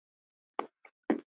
Þetta er bull!